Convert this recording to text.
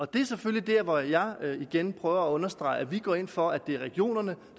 det er selvfølgelig der hvor jeg igen prøver at understrege at vi går ind for at det er regionerne